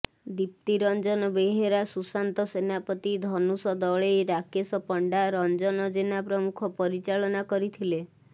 ଦିପ୍ତୀ ରଂଜନ ବେହେରା ସୁଶାନ୍ତ ସେନାପତି ଧନୁଷ ଦଳେଇ ରାକେଶ ପଣ୍ଡା ରଂଜନ ଜେନା ପ୍ରମୁଖ ପରିଚାଳନା କରିଥିଲେ